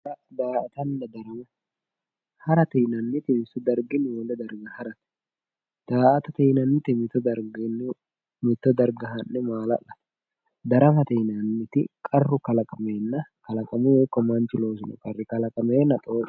Hara Daa"atanna darama harate yinannihu wole darga harate daa"atate yinannihu mitto darga ha'ne maala'late daramate qarru kalaqameenna xooqate.